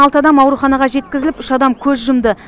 алты адам ауруханаға жеткізіліп үш адам көз жұмды